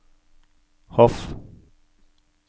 Hof